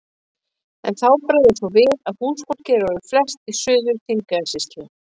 En þá bregður svo við að húsfólk er orðið flest í Suður-Þingeyjarsýslu.